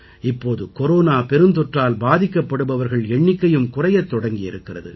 இப்போது கொரோனா பெருந்தொற்றால் பாதிக்கப்படுபவர்கள் எண்ணிக்கையும் குறையத் தொடங்கி இருக்கிறது